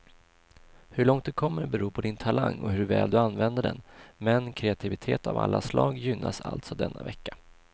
Hur långt du kommer beror på din talang och hur väl du använder den, men kreativitet av alla slag gynnas alltså denna vecka.